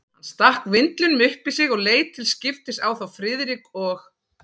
Hann stakk vindlinum upp í sig og leit til skiptis á þá Friðrik og